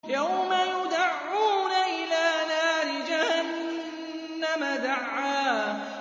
يَوْمَ يُدَعُّونَ إِلَىٰ نَارِ جَهَنَّمَ دَعًّا